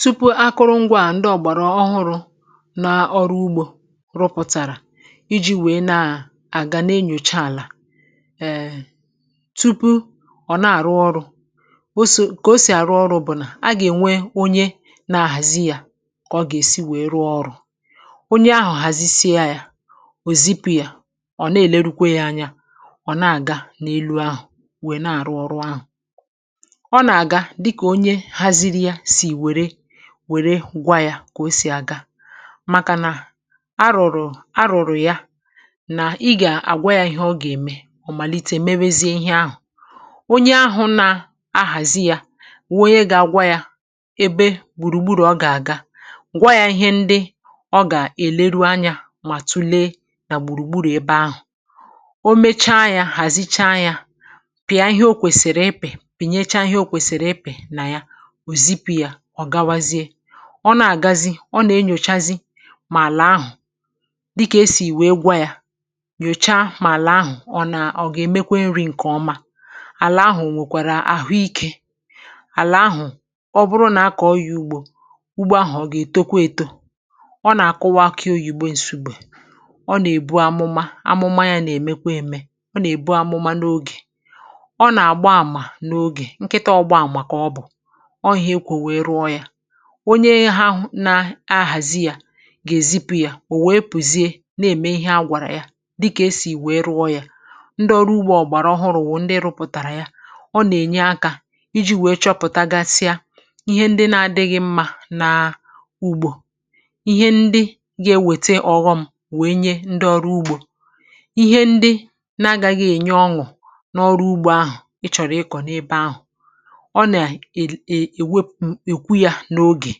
Tupu akụrụngwȧ à ndị ọ̀gbàrà ọhụrụ̇ na ọrụ ugbo rụpụ̀tàrà iji̇ wèe na-àga na-enyòcha àlà um tupu ọ̀ na-àrụ ọrụ̇, o si kà o sì àrụ ọrụ̇ bụ̀ nà a gà-ènwe onye na-ahàzi yȧ kà ọ gà-èsi wèe rụọ ọrụ̇. Onye ahụ̀ hazisie ya, ò zipụ yȧ, ọ̀ na-èlerukwa ya anya ọ̀ na-àga n’elu ahụ̀ wèe na-àrụ ọrụ ahụ̀. Ọ n’aga dika onye haziri ya si wèrè wère gwà yȧ kà o sì àga màkà nà arụ̀rụ̀ arụ̀rụ̀ ya nà ị gà-àgwa yȧ ihe ọ gà-ème ọ̀ màlite mewezie ihe ahụ̀. Onye ahụ̀ nà-ahàzi yȧ wụ onye gà-agwa yȧ ebe gbùrùgburu̇ ọ gà-àga, gwȧ yȧ ihe ndị ọ gà-èleru anyȧ mà tulee nà gbùrùgburu̇ ebe ahụ̀. O mecha yȧ, hàzicha yȧ, pìa ihe o kwèsìrì ịpị, pìnyecha ihe o kwèsìrì ịpị nà ya, òzipù ya, ọ̀gawazie. Ọ nà-àgazi, ọ nà-enyòchazi mà àlà ahụ̀, dịkà esì wèè gwa ya, nyòcha mà àlà ahụ̀ ọ nà ọ gà-èmekwe nri̇ ǹkè ọma, àlà ahụ̀ o nwèkwàrà àhụike, àlà ahụ̀ ọ bụrụ nà a kọọ ya ùgbo, ugbo ahụ̀ ọ gà-ètokwa èto. Ọ nà-àkụwa akị oyibo Nsugbe, ọ nà-èbu amụma. Amụma ya nà-èmekwa ème. Ọ nà-èbu amụma n’ogè. Ọ nà-àgba àmà n’ogè. Nkịtà ọgba àmà kà ọbụ. Ọ ihe ekwu wèè rụọ ya. Onye hụ na ahụ̀ na-ahàzi yȧ gà-èzipụ̇ yȧ ò wèe pùzie na-ème ihe a gwàrà ya dịkà esì wèe rụọ yȧ. Ndị ọrụ ugbȯ ọ̀gbàrà ọhụrụ̇ wụ̀ ndị rụpụ̀tàrà ya. Ọ nà-ènye akȧ iji̇ wèe chọpụ̀tagasịa ihe ndị na-adịghị̇ mma na ugbo, ihe ndị ga-ewète ọ̀ghọm wèe nye ndị ọrụ ugbȯ. Ihe ndị n'agȧghị̇ ènye ọṅụ̀ n’ọrụ ugbȯ ahụ̀ ị chọ̀rọ̀ ịkọ̀ n’ebe ahụ̀, ọ na e e ewe ekwu ya n’oge.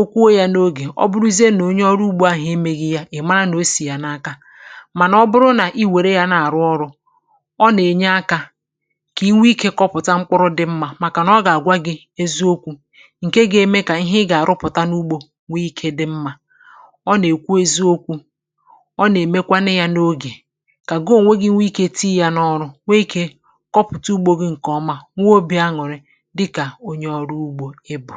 Okwuo yȧ n’ogè ọ bụrụzie nà onye ọrụ ugbȯ ahụ̀ emeghi̇ ya, ị̀ mara nà o sì yà n’aka, mànà ọ bụrụ nà i wère yȧ na-àrụ ọrụ, ọ nà-ènye akȧ kà inwe ikė kọpụ̀ta mkpụrụ dị mmȧ màkànà ọ gà-àgwa gị̇ eziokwu̇ ǹke ga-eme kà ihe ị gà-àrụpụ̀ta n’ugbȯ nwee ikė dị̇ mmȧ. Ọ nà-èkwu eziokwu̇. Ọ nà-èmekwanụ yȧ n’ogè kà gị ònwegi̇ nwee ikė tii yȧ n’ọrụ, nwee ikė kọpụ̀ta ugbȯ gị̇ ǹkè ọma nwee obì añụ̀rị̀, dịka onye ọrụ ugbo ị bụ.